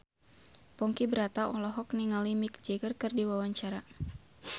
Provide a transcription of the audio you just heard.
Ponky Brata olohok ningali Mick Jagger keur diwawancara